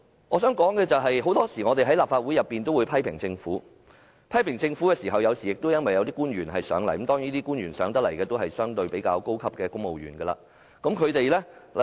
我想說的是，我們在立法會內常常批評政府，批評對象往往是前來接受質詢的官員——當然，前來接受質詢的都是較高級的公務員。